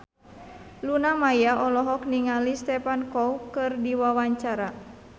Luna Maya olohok ningali Stephen Chow keur diwawancara